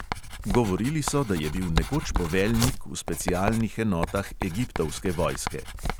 Govorili so, da je bil nekoč poveljnik v specialnih enotah egiptovske vojske.